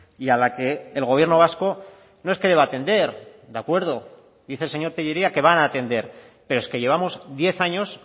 y a la que el gobierno vasco no es que deba atender de acuerdo dice el señor tellería que van a atender pero es que llevamos diez años